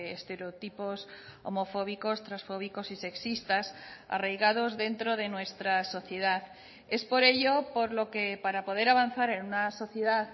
estereotipos homofóbicos transfóbicos y sexistas arraigados dentro de nuestra sociedad es por ello por lo que para poder avanzar en una sociedad